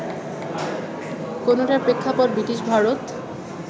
কোনোটার প্রেক্ষাপট ব্রিটিশ ভারত